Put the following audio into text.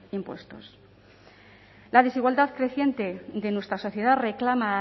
impuestos la desigualdad creciente de nuestra sociedad reclama